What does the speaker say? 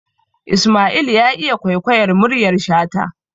Isma'il ya iya kwaikwayar muryar shata